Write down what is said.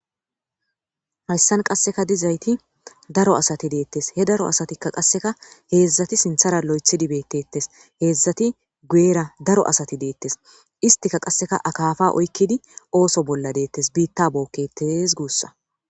hayssan qasseka dizayti daro asati deettes he daro asatikka qasseka heedzdzati sinthara lo7ethidi beettettes heedzdzati gueera daro asati deettes istika qasseka akafa oykkidi ooso bolla deettes biitta bookketes guussa